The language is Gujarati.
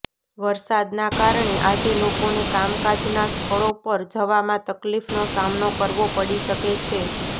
વરસાદના કારણે આજે લોકોને કામકાજના સ્થળો પર જવામાં તકલીફનો સામનો કરવો પડી શકે છે